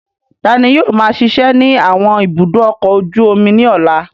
Ta ni yóò máa ṣiṣẹ́ ní àwọn ibùdó ọkọ̀ ojú omi ní ọ̀la?